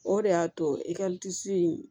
O de y'a to e disi